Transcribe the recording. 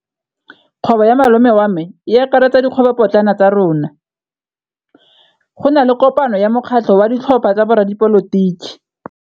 Kgwêbô ya malome wa me e akaretsa dikgwêbôpotlana tsa rona. Go na le kopanô ya mokgatlhô wa ditlhopha tsa boradipolotiki.